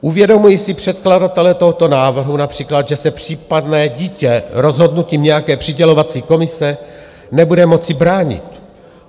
Uvědomují si předkladatelé tohoto návrhu například, že se případně dítě rozhodnutím nějaké přidělovací komise nebude moci bránit?